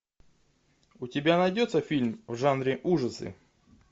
у тебя найдется фильм в жанре ужасы